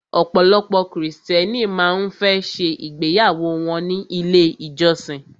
Ọ̀pọ̀lọpọ̀ krìstẹ́nì má ń fẹ́ ṣe ìgbéyàwó wọ́n ní ilé ìjọsin.